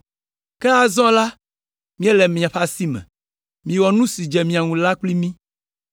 Ke azɔ la, míele miaƒe asi me, miwɔ nu si dze mia ŋu la kpli mí.”